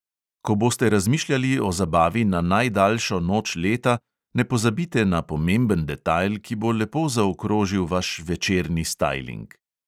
Ko boste razmišljali o zabavi na najdaljšo noč leta, ne pozabite na pomemben detajl, ki bo lepo zaokrožil vaš večerni stajling.